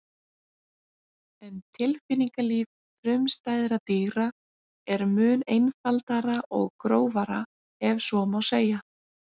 En tilfinningalíf frumstæðra dýra er mun einfaldara og grófara ef svo má segja.